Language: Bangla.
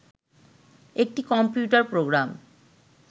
একটি কম্পিউটার প্রোগ্রাম